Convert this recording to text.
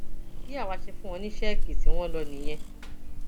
bí àwa ṣe fún wọn ní sẹẹkì tí wọn lò nìyẹn